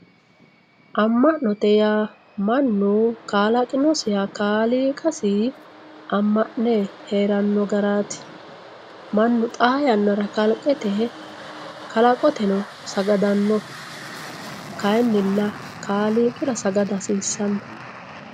mma'note yaa mannu kalaqinosiha kaaliiqasi amma'ne heerannno garaati mannu xaa yannara kalqete kalaqoteno sagadanno kayiinilla kaaliiqira sagada hasiissanno.